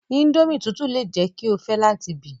Indomie tutu le jẹ ki o fẹ lati bi